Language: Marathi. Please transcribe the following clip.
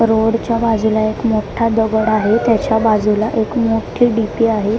रोडच्या बाजूला एक मोठा दगड आहे त्याच्या बाजूला एक मोठी डी_पी आहे.